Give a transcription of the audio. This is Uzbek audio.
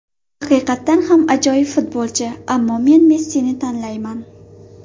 Haqiqatan ham ajoyib futbolchi, ammo men Messini tanlayman.